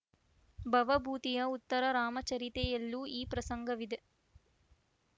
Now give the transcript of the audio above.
ಭವಭೂತಿಯ ಉತ್ತರ ರಾಮಚರಿತೆಯಲ್ಲೂ ಈ ಪ್ರಸಂಗವಿದೆ